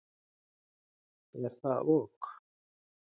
Er það ok?